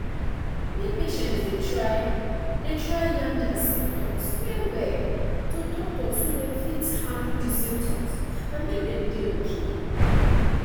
make patients de try de try yarn dia symptoms well well to doctor so dem fit handle di symptoms and make dem dey okay